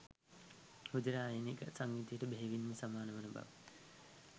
රුධිරයේ අයනික සංයුතියට ඛෙහෙවින්ම සමාන වන බව